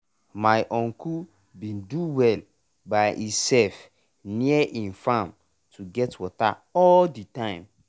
my uncle bin do well by e self near e farm to get water all de time.